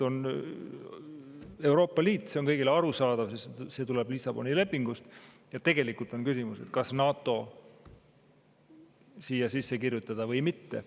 On Euroopa Liit, see on kõigile arusaadav, sest see tuleb Lissaboni lepingust, ja tegelikult on küsimus, kas NATO siia sisse kirjutada või mitte.